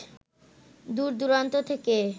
দূর-দূরান্ত থেকে